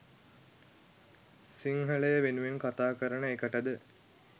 සිංහලය වෙනුවෙන් කතා කරන එකටද